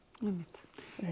einmitt